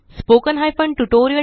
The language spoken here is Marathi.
spoken tutorialorgnmeict intro